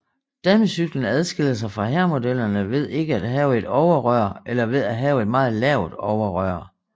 Damecyklen adskiller sig fra herremodellerne ved ikke at have et overrør eller ved at have et meget lavt overrør